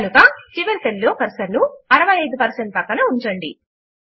కనుక చివరి సెల్ లో కర్సర్ ను 65 ప్రక్కన ఉంచండి